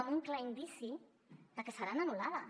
amb un clar indici de que seran anul·lades